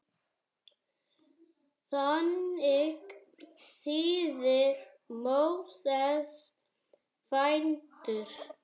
Þannig þýðir Móses fæddur.